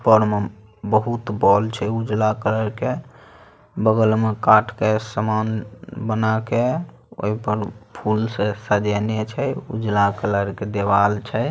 ऊपर में बहुत छै उजड़ा कलर के बगल में काठ के समान बना के ओय पर फूल से सजेने छै। उजला कलर के देवाल छै ।